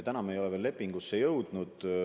Lepinguni me veel jõudnud ei ole.